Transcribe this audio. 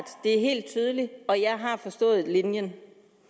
det er helt tydeligt og jeg har forstået linjen